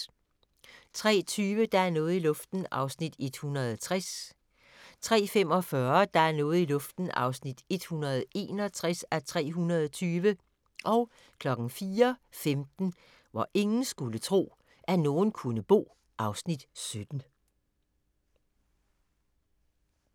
03:20: Der er noget i luften (160:320) 03:45: Der er noget i luften (161:320) 04:15: Hvor ingen skulle tro, at nogen kunne bo (Afs. 17)